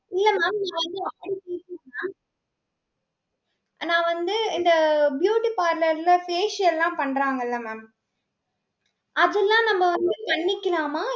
இல்ல mam நான் வந்து அப்படி கேக்கல mam, நான் வந்து இந்த beauty parlour ல, facial லாம் பண்றாங்கல்ல mam? அதெல்லாம் நம்ம வந்து பண்ணிக்கலாமா?